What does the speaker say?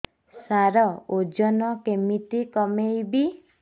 ସାର ଓଜନ କେମିତି କମେଇବି